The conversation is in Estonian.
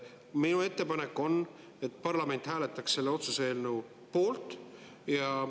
Minu ettepanek on, et parlament hääletaks selle otsuse eelnõu poolt.